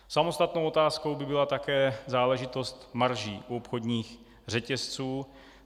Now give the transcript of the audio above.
Samostatnou otázkou by byla také záležitost marží u obchodních řetězců.